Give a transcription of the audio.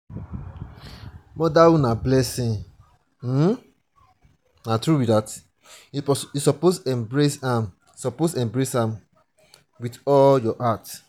motherhood na blessing you suppose embrace am suppose embrace am wit all your heart.